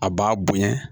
A b'a bonya